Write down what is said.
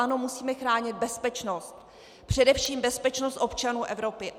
Ano, musíme chránit bezpečnost, především bezpečnost občanů Evropy.